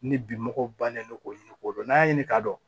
Ni bi mɔgɔw bannen don k'o ɲini k'o dɔn n'an y'a ɲini k'a dɔn